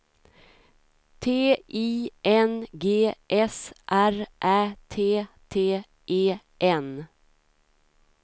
T I N G S R Ä T T E N